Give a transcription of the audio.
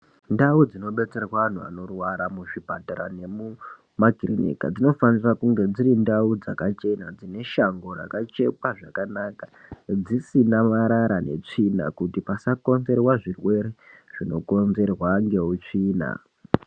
Ndau dzinodetserwa vanhu muzvipatara nemumakirinika dzinofanira kunge dziri ndau dzakachena dzine shango rakachekwa zvakanaka, dzisina marara netsvina kuti pasakonzerwa zvirwere zvinokonzerwa ngeutsvina.